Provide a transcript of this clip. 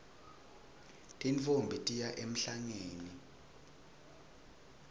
tintfombi tiya emhlangeni